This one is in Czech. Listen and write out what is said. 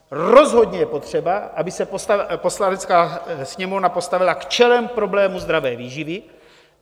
Rozhodně je potřeba, aby se Poslanecká sněmovna postavila čelem k problému zdravé výživy.